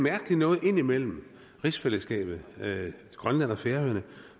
mærkelige noget indimellem rigsfællesskabet grønland og færøerne